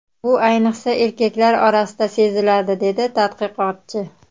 Bu ayniqsa, erkaklar orasida seziladi”, dedi tadqiqotchi.